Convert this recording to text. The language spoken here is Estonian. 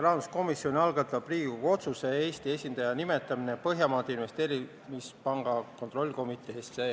Rahanduskomisjon algatab Riigikogu otsuse "Eesti esindaja nimetamine Põhjamaade Investeerimispanga kontrollkomiteesse" eelnõu.